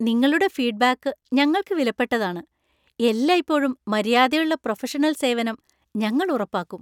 നിങ്ങളുടെ ഫീഡ്‌ബാക്ക് ഞങ്ങൾക്ക് വിലപ്പെട്ടതാണ്, എല്ലായ്‌പ്പോഴും മര്യാദയുള്ള പ്രൊഫഷണൽ സേവനം ഞങ്ങൾ ഉറപ്പാക്കും.